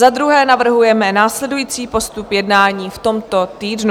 Za druhé navrhujeme následující postup jednání v tomto týdnu.